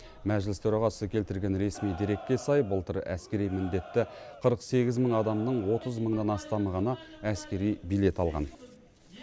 мәжіліс төрағасы келтірген ресми дерекке сай былтыр әскери міндетті қырық сегіз мың адамның отыз мыңнан астамы ғана әскери билет алған